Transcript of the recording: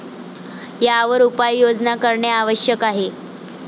यावर उपाययोजना करणे आवश्यक आहे.